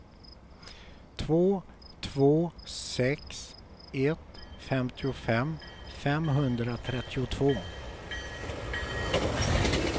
två två sex ett femtiofem femhundratrettiotvå